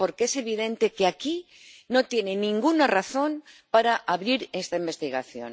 Porque es evidente que aquí no tiene ninguna razón para abrir esta investigación.